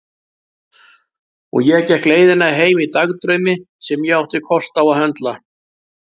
Og ég gekk leiðina heim í dagdraumi sem ég átti kost á að höndla.